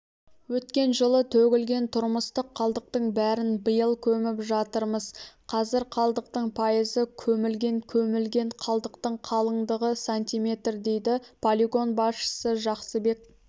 өткен жылы төгілген тұрмыстық қалдықтың бәрін биыл көміп жатырмыз қазір қалдықтың пайызы көмілген көмілген қалдықтың қалыңдығы сантиметр дейді полигон басшысы жақсыбек